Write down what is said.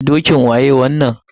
Dokin waye wannan?